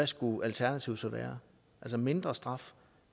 skulle alternativet så være mindre straf